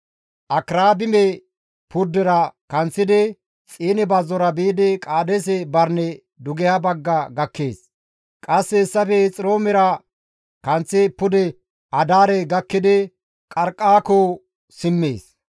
Akirabime purdera kanththidi, Xiine bazzora biidi Qaadeese Barine dugeha bagga gakkees. Qasse hessafe Hexiroomera kanththi pude Adaare gakkidi Qarqqaako simmees.